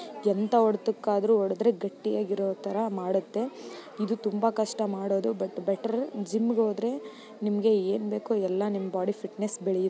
ಎಂಥ ಹೋದಕಾದ್ರು ಹೊಡದ್ರೆ ಗಟ್ಟಿಯಾಗಿರೋ ತರ ಮಾಡುತ್ತೆ. ಇದು ತುಂಬಾ ಕಷ್ಟ ಮಾಡೋದು ಬಟ್ ಬೆಟರ್ ಜಿಮ್‌ಗೆ ಹೋದರೆ ನಿಮಗೆ ಏನು ಬೇಕು ಎಲ್ಲ ನಿಮ್ಮ ಬಾಡಿ ಫಿಟ್‌ನೆಸ್‌ಗೆ ಬೆಳೆಯುತ್ತೆ.